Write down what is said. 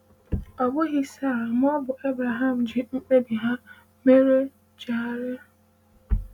Ọ bụghị Sara ma ọ bụ Abraham ji mkpebi ha mere chegharịa.